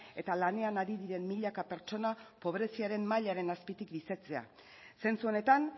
eta lanean ari diren milaka pertsona pobreziaren mailaren azpitik bizitzea zentzu honetan